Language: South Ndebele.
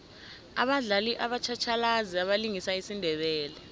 abadlali batjhatjhalazi abalingisa isindebele